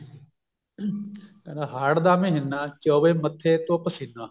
ਕਹਿੰਦਾ ਹਾੜ ਦਾ ਮਹੀਨਾ ਚੋਵੇ ਮੱਥੇ ਤੋਂ ਪਸੀਨਾ